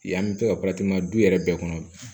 Yan bɛ to ka du yɛrɛ bɛɛ kɔnɔ